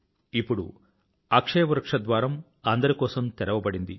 ఇప్పుడు అక్షయ వృక్షం ద్వారం అందరి కోసం తెరవబడింది